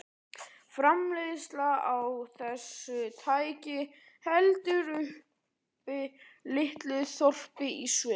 Framleiðsla á þessu tæki heldur uppi litlu þorpi í Sviss.